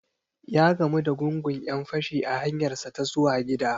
Ya gamu da gungun 'yan-fashi a hanyarsa ta zuwa gida.